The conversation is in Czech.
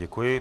Děkuji.